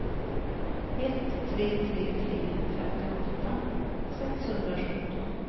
ett tre tre tre femtioåtta sexhundrasjutton